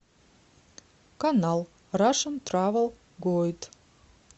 канал рашн травел гойд